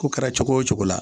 Ko kɛra cogo o cogo la